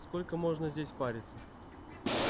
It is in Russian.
сколько можно здесь париться